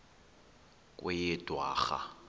kweyedwarha